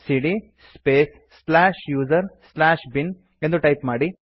ಸಿಡಿಯ space slash user slash bin ಎಂದು type ಮಾಡಿ